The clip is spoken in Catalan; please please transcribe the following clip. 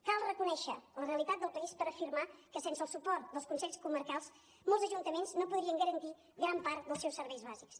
cal reconèixer la realitat del país per afirmar que sense el suport dels consells comarcals molts ajuntaments no podrien garantir gran part dels seus serveis bàsics